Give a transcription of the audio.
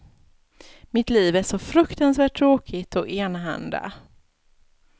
Mitt liv är så fruktansvärt tråkigt och enahanda.